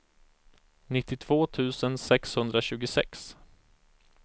nittiotvå tusen sexhundratjugosex